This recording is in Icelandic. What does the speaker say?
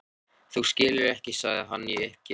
Þú skilur ekki sagði hann í uppgjöf.